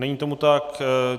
Není tomu tak.